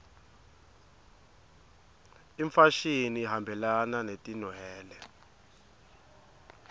imfashini ihambelana netinwele